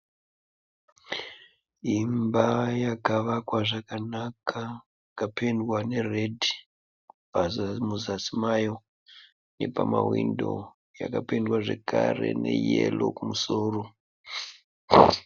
Imba yakavakwa zvakanaka ikapendwa neredhi. Muzasi mayo nepamahwindo yakapendwa zvekare neyero kumusoro.